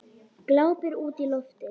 Glápir útí loftið.